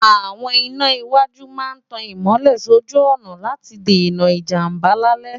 àwọn iná iwájú máa ń tan ìmọ́lẹ̀ sójú ọ̀nà láti dènà ìjàmbá lálẹ́